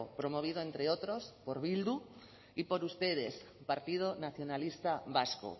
promovido entre otros por bildu y por ustedes partido nacionalista vasco